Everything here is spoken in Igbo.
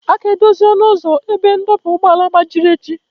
A ga-edozi ọnụ ụzọ ebe ndọba ụgbọala gbajiri echi